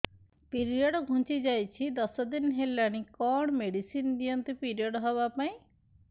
period ଘୁଞ୍ଚି ଯାଇଛି ଦଶ ଦିନ ହେଲାଣି କଅଣ ମେଡିସିନ ଦିଅନ୍ତୁ ପିରିଅଡ଼ ହଵା ପାଈଁ